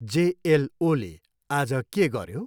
जेएलओले आज के गऱ्यो?